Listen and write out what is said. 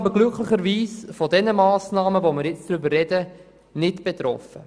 Glücklicherweise sind wir nicht von den zur Debatte stehenden Massnahmen betroffen.